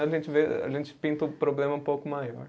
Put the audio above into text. A gente vê, a gente pinta o problema um pouco maior.